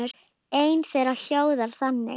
Ein þeirra hljóðar þannig